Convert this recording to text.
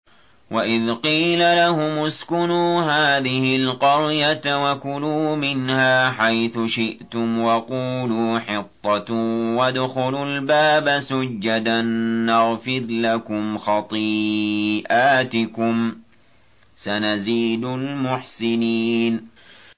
وَإِذْ قِيلَ لَهُمُ اسْكُنُوا هَٰذِهِ الْقَرْيَةَ وَكُلُوا مِنْهَا حَيْثُ شِئْتُمْ وَقُولُوا حِطَّةٌ وَادْخُلُوا الْبَابَ سُجَّدًا نَّغْفِرْ لَكُمْ خَطِيئَاتِكُمْ ۚ سَنَزِيدُ الْمُحْسِنِينَ